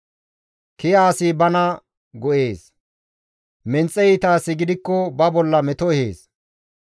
Kiya asi bana go7ees; menxe iita asi gidikko ba bolla meto ehees.